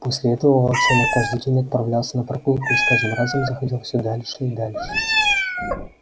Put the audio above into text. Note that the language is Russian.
после этого волчонок каждый день отправлялся на прогулку и с каждым разом заходил все дальше и дальше